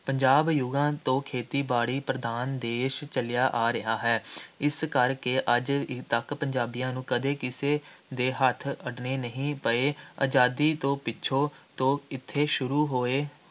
ਪੰਜਾਬ ਯੁੱਗਾਂ ਤੋਂ ਖੇਤੀ-ਬਾੜੀ ਪ੍ਰਧਾਨ ਦੇਸ਼ ਚੱਲਿਆ ਆ ਰਿਹਾ ਹੈ । ਇਸ ਕਰਕੇ ਅੱਜ ਤੱਕ ਪੰਜਾਬੀਆਂ ਨੂੰ ਕਦੇ ਕਿਸੇ ਦੇ ਹੱਥ ਅੱਡਣੇ ਨਹੀਂ ਪਏ, ਆਜ਼ਾਦੀ ਤੋਂ ਪਿੱਛੋਂ ਤੋਂ ਇੱਥੇ ਸ਼ੁਰੂ ਹੋਏ,